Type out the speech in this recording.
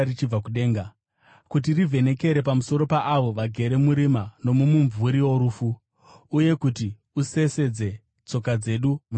kuti rivhenekere pamusoro paavo vagere murima nomumumvuri worufu, uye kuti usesedze tsoka dzedu munzira yorugare.”